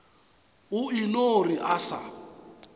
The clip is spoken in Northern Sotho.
o eno re a sa